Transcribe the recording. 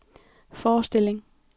forestilling